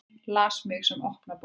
Las mig sem opna bók.